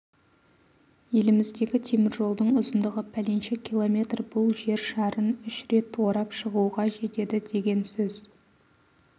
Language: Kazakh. еліміздегі теміржолдың ұзындығы пәленше километр бұл жер шарын үш рет орап шығуға жетеді деген сөз